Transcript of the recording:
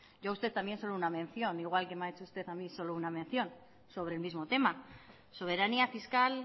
yo a usted solo una mención igual que me ha hecho usted solo una mención sobre el mismo tema soberanía fiscal